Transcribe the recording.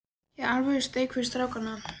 Hér er alvöru steik fyrir stráka.